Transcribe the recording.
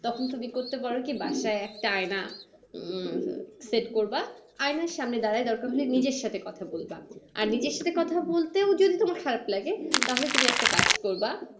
তখন তুমি করতে পারো কি। বাসায় একটা আয়না হম সেট করবা, আয়নার সামনে দাঁড়িয়ে দরকার হলে নিজের সাথে কথা বলবা। আর নিজের সাথে কথা বলতেও যদি তোমার খারাপ লাগে তাহলে তুমি একটা কাজ করবা